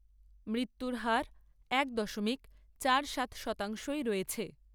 মৃত্যুর হার এক দশমিক চার সাত শতাংশ'ই রয়েছে।